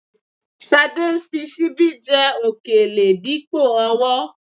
Ṣadé ń fi ṣíbí jẹ òkèlè dípò ọwọ́